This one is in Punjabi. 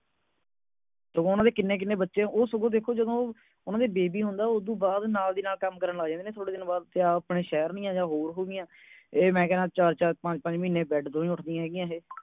ਉਨ੍ਹਾਂ ਦੇ ਕਿੰਨੇ ਕਿੰਨੇ ਬਚੇ ਉਹ ਦੇਖੋ ਸਗੌਂ ਉਨ੍ਹਾਂ ਦੇ baby ਹੁੰਦਾ ਹੈ ਉਸ ਤੋਂ ਬਾਅਦ ਨਾਲ ਦੀ ਨਾਲ ਕੰਮ ਕਰਨ ਲੱਗ ਜਾਂਦੇ ਨੇ ਥੋੜ੍ਹੇ ਦਿਨਾਂ ਬਾਅਦ ਆਪਣੇ ਸ਼ਹਿਰ ਨਹੀ ਹੈਗੀ ਆ ਹੋਰ ਹੋ ਗਈਆਂ ਇਹ ਮੈਂ ਕਹਿਨਾਂ ਚਾਰ ਚਾਰ ਪੰਜ ਪੰਜ ਮਹੀਨੇ bed ਤੋਂ ਨਹੀਂ ਉੱਠਦੀਆਂ ਹੋ ਗਿਆ ਇਹ